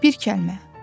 Bir kəlmə.